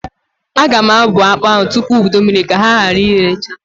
Aga m abụa akpa ahụ tupu ụdụ mmiri ka ha gara irecha.